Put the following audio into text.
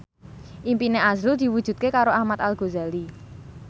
impine azrul diwujudke karo Ahmad Al Ghazali